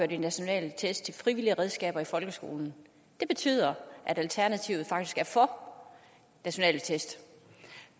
de nationale test til frivillige redskaber i folkeskolen det betyder at alternativet faktisk er for nationale test